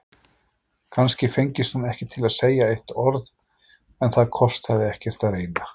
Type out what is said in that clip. Kannski fengist hún ekki til að segja eitt orð, en það kostaði ekkert að reyna.